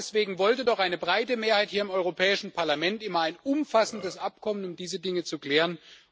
Und genau deswegen wollte doch eine breite Mehrheit hier im Europäischen Parlament immer ein umfassendes Abkommen, um diese Dinge zu klären.